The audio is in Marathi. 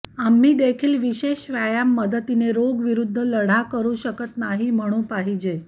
आम्ही देखील विशेष व्यायाम मदतीने रोग विरुद्ध लढा करू शकत नाही म्हणू पाहिजे